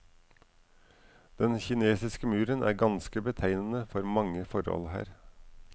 Den kinesiske muren er kanskje betegnende for mange forhold her.